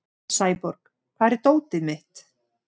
Sæborg, hvar er dótið mitt?